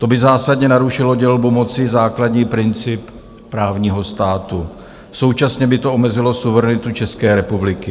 To by zásadně narušilo dělbu moci, základní princip právního státu, současně by to omezilo suverenitu České republiky.